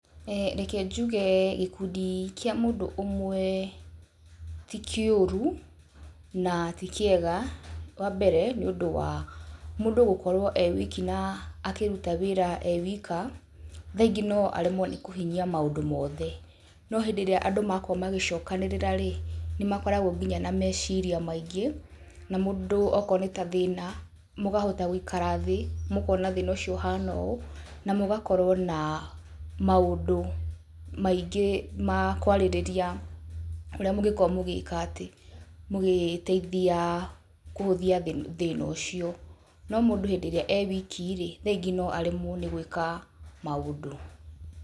Reke njuge gĩkundi kĩa mũndũ ũmwe ti kĩũru na ti kĩega. Wa mbere nĩ ũndũ wa mũndũ gũkorwo e wiki na akĩruta wĩra e wika thaingĩ no aremwo nĩ kũhinyia maũndũ mothe. No hĩndĩ ĩrĩa andũ makorwo magĩcokanĩrĩra-rĩ, nĩ makoragwo nginya na meciira maingĩ. Na mũndũ okorwo nĩ ta thĩna mũkahota gũikara thĩ mũkona thĩna ũyũ ũhana ũũ na mũgakorwo na maũndũ maingĩ ma kwarĩrĩria ũria mũngĩkorwo mũngĩkoro mũgĩka atĩ, mũngĩteithia kũhũthia thĩna ũcio, no mũndũ hĩndĩ ĩrĩa e wiki-rĩ, rĩngĩ no aremwo nĩ gwĩka maũndũ.